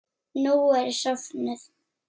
Nú er ég sofnuð.